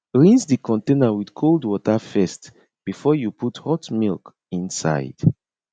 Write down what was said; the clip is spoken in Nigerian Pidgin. rinse the container with cold water first before you put hot milk inside